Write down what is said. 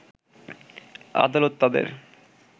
আদালত তাদের